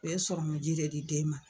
U ye sɔrɔmiji de di den ma